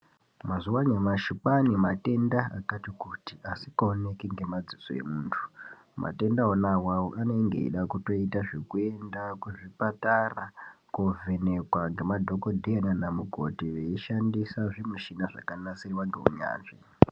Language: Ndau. Mazuva anyashi kwaane matenda akati kutii asikaoneki ngemadziso emuntu, matenda wona awawo anonge eida kutoita zvekuenda kuzvipatara koovhenekwa ngemadhokodheya nana mukoti veishandisa zvimushina zvakanasirwa ngeunyanzvi